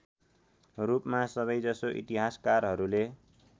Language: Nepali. रूपमा सबैजसो इतिहासकारहरूले